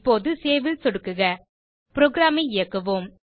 இப்போது சேவ் ல் சொடுக்குக புரோகிராம் ஐ இயக்குவோம்